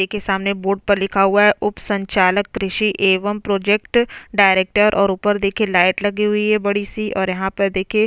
देखिये सामने बोट पर लिखा हुआ है उप संचालक कृषि एवं प्रोजेक्ट डायरेक्टर और ऊपर देखिये लाइट लगी हुई है बड़ी सी और यहाँ पर देखिये--